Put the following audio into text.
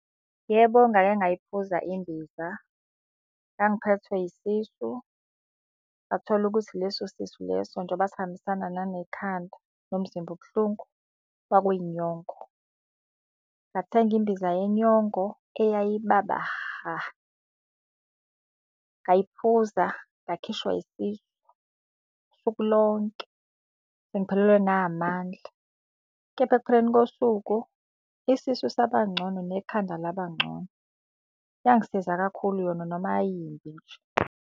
Yebo ngake ngayiphuza imbiza. Ngangiphethwe isisu, ngathola ukuthi leso sisu leso njengoba sihambisana nanekhanda nomzimba ubuhlungu, kwakuyinyongo. Ngathenga imbiza yenyongo eyayibaba ha. Ngayiphuza ngakhishwa isisu usuku lonke, sengiphelelwe na amandla. Kepha ekupheleni kosuku isisu saba ngcono nekhanda laba ngcono. Yangisiza kakhulu yona noma yayiyimbi nje.